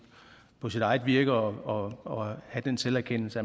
på sit eget virke og have den selverkendelse